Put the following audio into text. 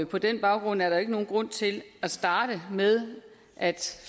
på den baggrund er der jo ikke nogen grund til at starte med at